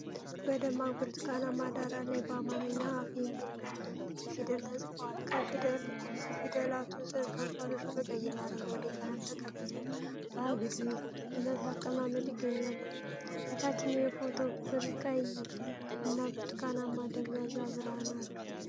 በደማቅ ብርቱካናማ ዳራ ላይ በአማርኛ "አፍ" የሚል ነጭ ፊደላት ተጽፈዋል። ከፊደላቱ ስር ከንፈሮች በቀይና በአረንጓዴ ቀለም ተቀብተው በአግድመት አቀማመጥ ይገኛሉ። የታችኛው የፎቶው ክፍል ቀይ እና ብርቱካናማ ደብዛዛ ብርሃን አለው።